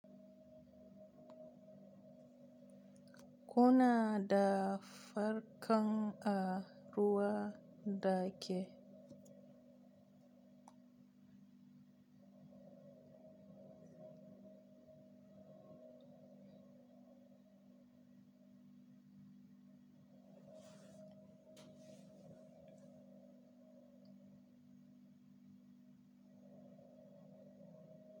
Kuna da farkan a ruwa dake?